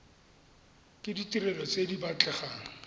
ke ditirelo tse di batlegang